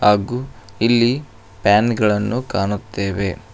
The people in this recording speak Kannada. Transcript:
ಹಾಗು ಇಲ್ಲಿ ಫ್ಯಾನ್ ಗಳನ್ನು ಕಾಣುತ್ತೇವೆ.